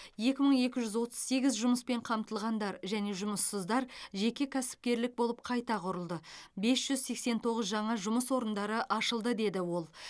екі мың екі жүз отыз сегіз жұмыспен қамтылғандар және жұмыссыздар жеке кәсіпкерлік болып қайта құрылды бес жүз сексен тоғыз жаңа жұмыс орындары ашылды деді ол